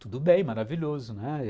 Tudo bem, maravilhoso, né?